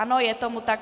Ano, je tomu tak.